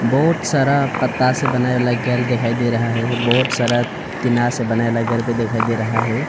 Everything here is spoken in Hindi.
बहुत सारा पत्ता से बनाया घर दिखाई दे रहा है बहुत सारा धीनार से बनाया घर भी दिखाई दे रहा है।